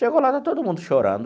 Chegou lá, está todo mundo chorando.